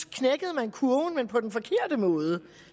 knækkede man kurven men på den forkerte måde